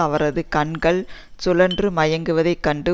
அவரது கண்கள் சுழன்று மயங்குவதைக் கண்டு